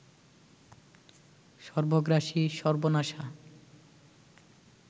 সর্বগ্রাসী, সর্বনাশা